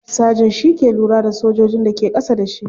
Sergeant shi ke lura da sojojin da ke kasa da shi.